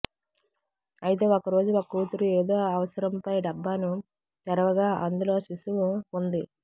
అయితే ఒక రోజు ఒక కూతురు ఏదో అవసరంపై డబ్బాను తెరువగా అందులో శిషువు ఉంది